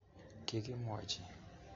Kikimwochi